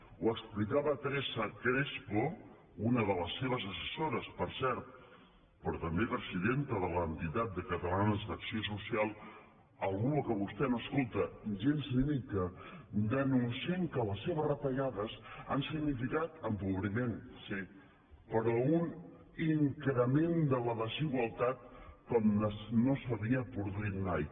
ho explicava teresa crespo una de les seves assessores per cert però també presidenta d’entitats catalanes d’acció social algú a qui vostè no escolta gens ni mica denunciant que les seves retallades han significat empobriment sí però un increment de la desigualtat com no s’havia produït mai